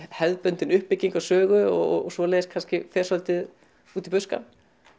hefðbundin uppbygging á sögu og svoleiðis kannski fer svolítið út í buskann